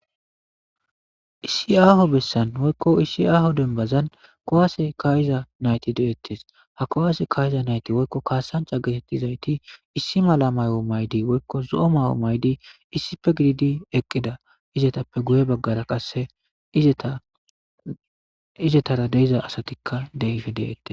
Issi aaho bessan woykko issi aaho denbazan kowaase kayiza nayti deettes ha kowaase kayiza nayte woykko kaasancha geetettizayti issi mala mayo maydi woykko zo'o ma'o maydi issife gididi eqqida izetappe guye baggara qasse izetara deiza asatikka deife deette.